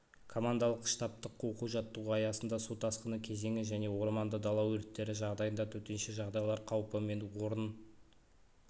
командалық-штабтық оқу-жаттығу аясында су тасқыны кезеңі және орманды дала өрттері жағдайында төтенше жағдай қаупі мен орын